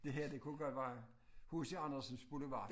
Det her det kunne godt være H C Andersens boulevard